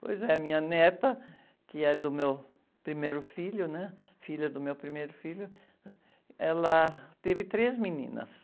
Pois é, minha neta, que é do meu primeiro filho, né? Filha do meu primeiro filho, ela teve três meninas.